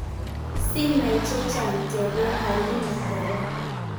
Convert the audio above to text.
sinai chechang, tebeen Halima koron